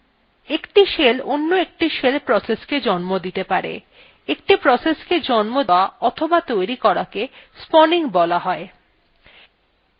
একটি shell অন্য একটি shell processকেও জন্ম দিতে পারে একটি process জন্ম দেওয়া অথবা তৈরি করাকে spawning বলা হয়